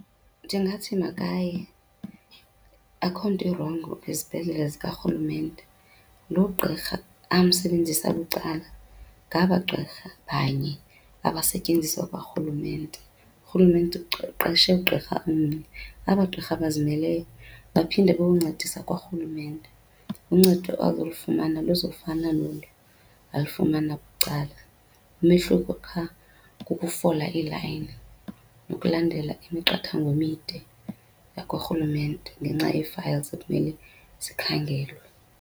Ndingathi makaye akukho nto irongo ezibhedlele zikarhulumente. Lo gqirha amsebenzise bucala ngaba gqirha banye abasetyenziswa kwarhulumente. Urhulumente uqeshe ugqirha omnye, aba gqirha bazimeleyo baphinde bayoncedisa kwarhulumente. Uncedo azolufumana luzofana nolu alufumana bucala, umehluko qha kukufola ilayini nokulandela imiqathango emide yakwarhulumente ngenxa yee-files ekumele zikhangelwe.